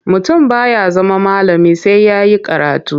Mutum ba ya zama malami sai ya yi karatu.